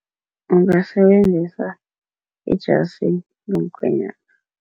Ngingasebenzisa ijasi lomkhenywana.